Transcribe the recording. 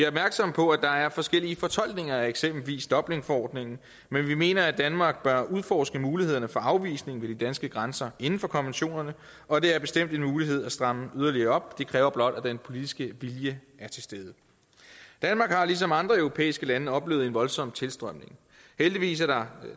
opmærksomme på at der er forskellige fortolkninger af eksempelvis dublinforordningen men vi mener at danmark bør udforske mulighederne for afvisning ved de danske grænser inden for konventionerne og det er bestemt en mulighed at stramme yderligere op det kræver blot at den politiske vilje er til stede danmark har ligesom andre europæiske lande oplevet en voldsom tilstrømning heldigvis er der